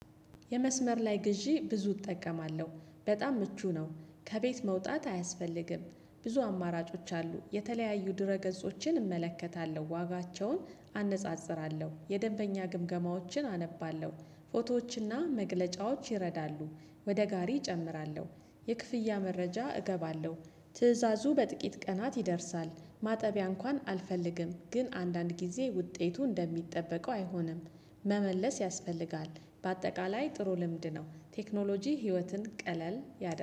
የመስመር ላይ ግዢ ብዙ እጠቀማለሁ በጣም ምቹ ነው ከቤት መውጣት አያስፈልግም ብዙ አማራጮች አሉ የተለያዩ ድረ ገጾችን እመለከታለሁ ዋጋቸውን አነጻጽራለሁ የደንበኛ ግምገማዎችን አነባለሁ ፎቶዎችና መግለጫዎች ይረዳሉ ወደ ጋሪ እጨምራለሁ የክፍያ መረጃ እገባለሁ ትእዛዙ በጥቂት ቀናት ይደርሳል። ማጠቢያ እንኳን አልፈልግም ግን አንዳንድ ጊዜ ውጤቱ እንደሚጠበቀው አይሆንም። መመለስ ያስፈልጋል በአጠቃላይ ጥሩ ልምድ ነው። ቴክኖሎጂ ህይወትን ቀለል ያደርጋል